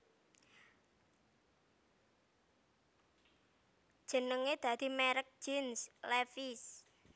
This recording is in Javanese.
Jenengé dadi merk jeans Levi s